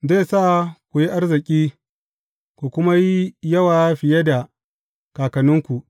Zai sa ku yi arziki, ku kuma yi yawa fiye da kakanninku.